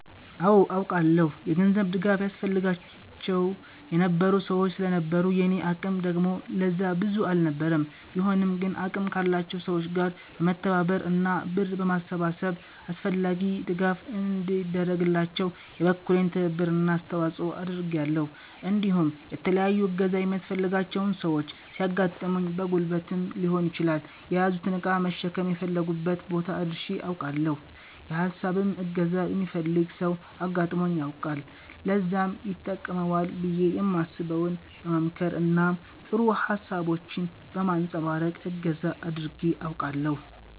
አወ አውቃለሁ። የገንዘብ ድጋፍ ያስፈልጋቸው የነበሩ ሰወች ስለነበሩ የኔ አቅም ደግሞ ለዛ ብቁ አልነበረም ቢሆንም ግን አቅም ካላቸው ሰወች ጋር በመተባበር እና ብር በማሰባሰብ አስፈላጊው ድጋፍ እንዲደረግላቸው የበኩሌን ትብብር እና አስተዋፀኦ አድርጊያለሁ እንዲሁም የተለያዩ እገዛ የሚያስፈልጋቸው ሰወች ሲያጋጥሙኝ በጉልበትም ሊሆን ይችላል የያዙትን እቃ በመሸከም የፈለጉበት ቦታ አድርሸ አውቃለሁ። የ ሀሳብም እገዛ የሚፈልግ ሰው አጋጥሞኝ ያውቃል ለዛም ይተቅመዋል ብየ የማስበውን በ መምከር እና ጥሩ ሀሳቦችን በማንፀባረቅ እገዛ አድርጌ አውቃለሁ።